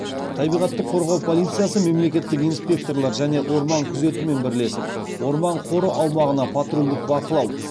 табиғатты қорғау полициясы мемлекеттік инспекторлар және орман күзетімен бірлесіп орман қоры аумағына патрульдік бақылау